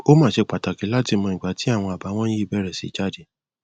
ó máa ṣe pàtàkì láti mọ ìgbà tí àwọn àbàwọn yìí bẹrẹ sí jáde